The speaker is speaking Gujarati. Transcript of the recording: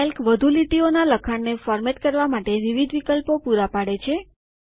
કેલ્ક વધુ લીટીઓનાં લખાણ ને ફોર્મેટ કરવા માટે વિવિધ વિકલ્પો પુરા પાડે છે